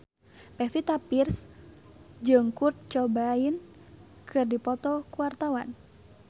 Pevita Pearce jeung Kurt Cobain keur dipoto ku wartawan